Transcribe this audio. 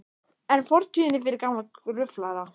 En fortíðin er fyrir gamla gruflara.